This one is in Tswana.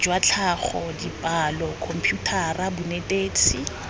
jwa tlhago dipalo khomputara bonetetshi